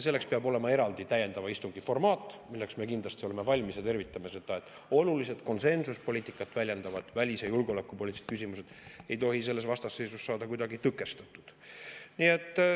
Selleks peab olema eraldi täiendava istungi formaat, milleks me kindlasti oleme valmis ja tervitame seda, sest olulised konsensuspoliitikat väljendavad välis- ja julgeolekupoliitilised küsimused ei tohi selles vastasseisus saada kuidagi tõkestatud.